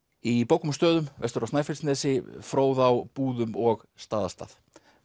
í bókum og stöðum vestur á Snæfellsnesi Fróðá Búðum og Staðarstað